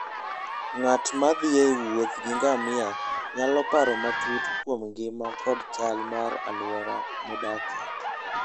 Ng'at ma thi e wuoth gi ngamia nyalo paro matut kuom ngima koda chal mar alwora modakie.